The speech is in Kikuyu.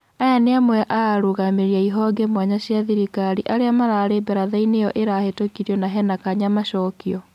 Aya ni amwe a arũgamĩrĩri a ihonge mwanya cia thirikari arĩa mararĩ mbarathaĩnĩ ĩyo ĩrahetũkire na hena kanya macokio.